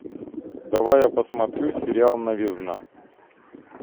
давай я посмотрю сериал новизна